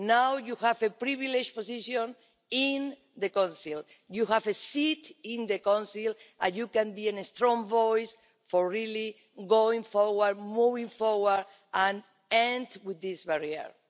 Now you have a privileged position in the Council. You have a seat in the Council and you can be a strong voice for really going forward, moving forward and ending this barrier.